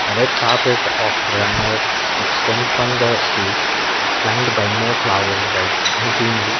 a red carpet of extend from the stage flanged by more flower beds and greenery.